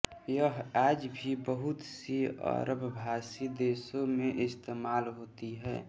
यह आज भी बहुत सी अरबभाषी देशों में इस्तेमाल होती है